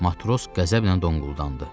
Matros qəzəblə donquldandı.